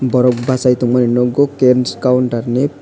borok basai tongmani nugo kems counter ni.